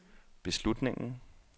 beslutningen